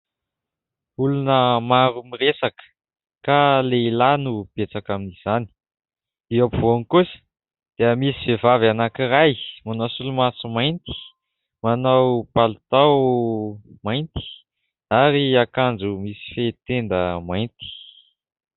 Olona maro miresaka ka lehilahy no betsaka amin'izany, eo ampovoany kosa dia misy vehivavy anankiray manao solomaso mainty, manao palitao mainty ary akanjo misy fehi-tenda mainty.